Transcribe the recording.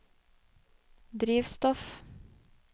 drivstoff